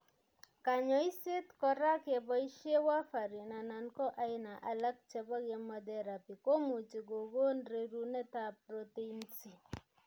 Kanyoiset kora keboishe warfarin anan ko aina alak chebo chemotherapy komuchi kokon rerunetab protein c.